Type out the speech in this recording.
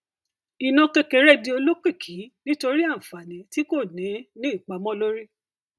iná kékeré di olókìkí nítorí àǹfààní tí kò ní ìpamó lórí